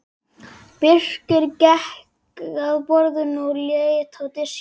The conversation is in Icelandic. Birkir gekk að borðinu og leit á diskinn.